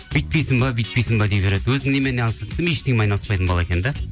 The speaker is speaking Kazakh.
өйтпейсің бе бүйтпейсің бе дей береді өзің немен айналысасың десем ештеңемен айналыспайтын бала екен де